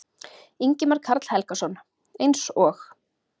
Ingimar Karl Helgason: Eins og?